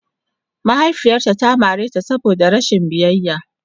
Mahaifiyarta ta mare ta saboda rashin biyayya.